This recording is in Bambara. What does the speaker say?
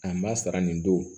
An b'a sara nin don